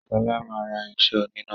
Shola má rà irinṣẹ́ oníná.